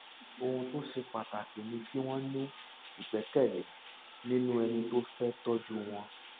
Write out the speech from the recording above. ohun tó ṣe pàtàkì ni kí wọn ní ìgbẹkẹlé nínú ẹni tó fẹ tọjú wọn